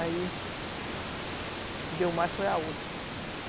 Aí... Deu mais, foi a outra.